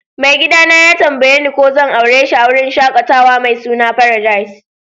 Mai gida na ya tambaye ni ko zan aure shi a'wurin shakatawa mai suna Paradise.